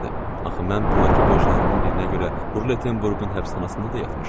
Axı mən burdakı borclarımın birinə görə Rulettenburqun həbsxanasında da yatmışdım.